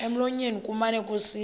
emlonyeni kumane kusithi